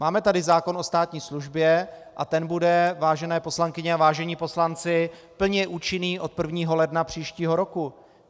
Máme tady zákon o státní službě a ten bude, vážené poslankyně a vážení poslanci, plně účinný od 1. ledna příštího roku.